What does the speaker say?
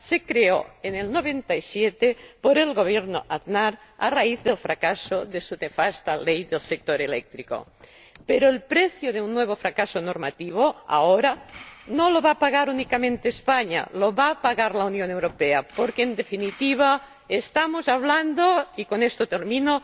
creó en 1997 el Gobierno de José María Aznar a raíz del fracaso de su nefasta ley del sector eléctrico, pero el precio de un nuevo fracaso normativo ahora no lo va a pagar únicamente España, lo va a pagar la Unión Europea, porque en definitiva estamos hablando —y con esto termino—